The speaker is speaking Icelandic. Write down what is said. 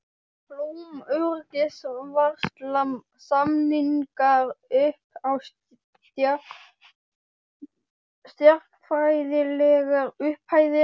Blóm, öryggisvarsla, samningar upp á stjarnfræðilegar upphæðir.